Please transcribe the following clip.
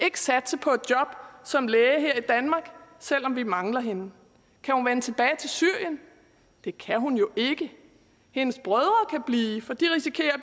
ikke satse på et job som læge her i danmark selv om vi mangler hende kan hun vende tilbage til syrien det kan hun jo ikke hendes brødre kan blive for de risikerer at